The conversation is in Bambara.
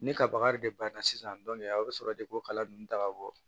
Ne ka baga de banna sisan aw bɛ sɔrɔ de ko kala ninnu ta ka bɔ